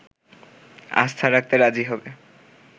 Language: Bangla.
আস্থা রাখতে রাজি হবে